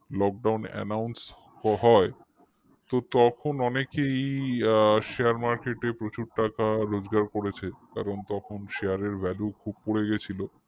lockdownannounce হয় তো তখন অনেকেই share market এ প্রচুর টাকা রোজগার করেছে কারণ তখন share এর value খুব পড়ে গেছিল